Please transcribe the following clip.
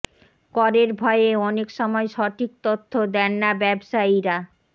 করের ভয়ে অনেক সময় সঠিক তথ্য দেন না ব্যবসায়ীরা